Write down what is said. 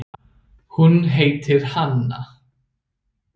Hún heitir Hanna.